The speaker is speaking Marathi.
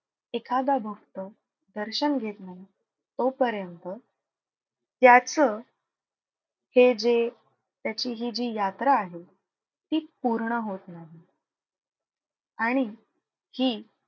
एखादा भक्त दर्शन घेत नाही तोपर्यंत त्याचं हे जे त्याची हि जी यात्रा आहे ती पूर्ण होत नाही. आणि हि,